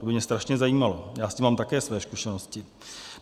To by mě strašně zajímalo, já s tím mám také své zkušenosti.